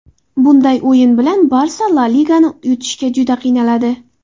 Bunday o‘yini bilan ‘Barsa’ La Ligani yutishga juda qiynaladi”.